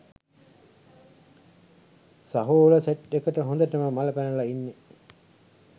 සහෝල set එකට හොඳටම මල පැනල ඉන්නෙ